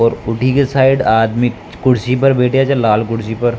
और उठी की साइड आदमी कुर्सी पर बैठया छ लाल कुर्सी पर।